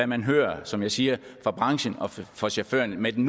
man hører som jeg siger fra branchen og fra chaufførerne med den